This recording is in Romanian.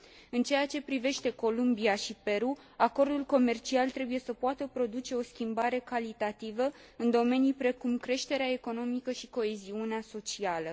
În ceea ce privește Columbia și Peru, acordul comercial trebuie să poată produce o schimbare calitativă în domenii precum creșterea economică și coeziunea socială.